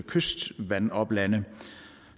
kystvandoplande